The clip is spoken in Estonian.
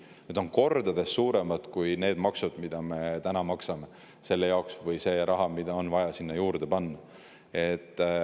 Need on kordades suuremad kui need maksud, mida me maksame selle jaoks, või see raha, mida on vaja sinna juurde panna.